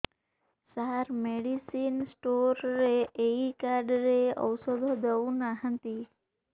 ସାର medicine store ରେ ଏଇ card ରେ ଔଷଧ ଦଉନାହାନ୍ତି